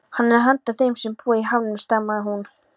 Hann er handa þeim sem búa í hamrinum stamaði hún.